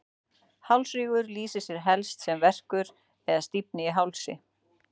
hálsrígur lýsir sér helst sem verkur eða stífni í hálsi